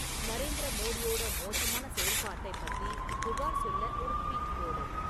நரேந்திர மோடியோட மோசமான செயல்பாட்டைப் பத்தி புகார் சொல்ல ஒரு ட்வீட் போடு